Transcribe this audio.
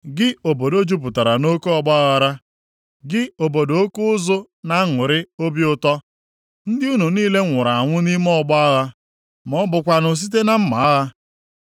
Gị obodo jupụtara nʼoke ọgbaaghara, gị obodo oke ụzụ na-aṅụrị obi ụtọ? Ndị unu niile nwụrụ anwụghị nʼime ọgbọ agha, ma ọ bụkwanụ site na mma agha.